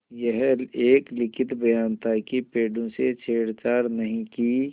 यह एक लिखित बयान था कि पेड़ों से छेड़छाड़ नहीं की